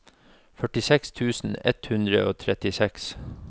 førtiseks tusen ett hundre og trettiseks